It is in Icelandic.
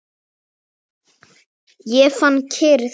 Ég fann kyrrð.